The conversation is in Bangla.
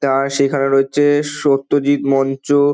তার সেখানে রয়েছে সত্যজিৎ মঞ্চ।